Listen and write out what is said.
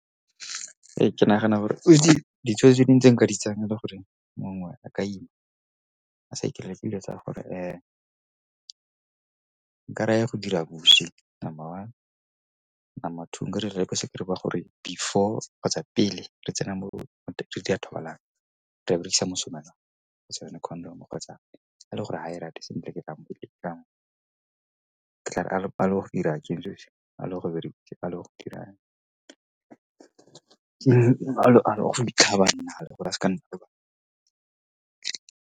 Ee, ke nagana gore ditshwetso tse dingwe tse nka di tsayang e le gore mongwe a ka ima a sa ikaela ke dilo tsa gore nka reya go dira bosi, number one. Number two nka dira gore before kgotsa pele re tsena mo ya thobalano re tla berekisa mosomelwana kgotsa yone condom-o kgotsa a le gore ga e rate sentle ke tla re gore re berekisa dirang gore a seka nna le bana.